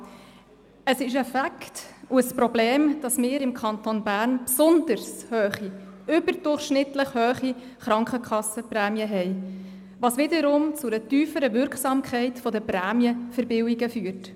Ja, es ist ein Fakt und ein Problem, dass wir im Kanton Bern besonders hohe, überdurchschnittlich hohe Krankenkassenprämien haben, was wiederum zu einer tieferen Wirksamkeit der Prämienverbilligungen führt.